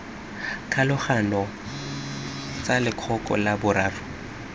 kgolagano tsa lekoko la boraro